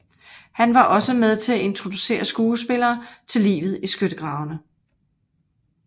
Han var også med til at introducere skuespillerne til livet i skyttegravene